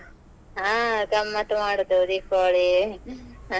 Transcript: ಹಾ ಗಮ್ಮತ್ ಮಾಡುದ್ ದೀಪಾವಳಿ ಹ ಹಾ